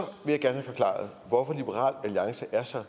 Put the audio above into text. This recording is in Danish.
vil jeg gerne have forklaret hvorfor liberal alliance er så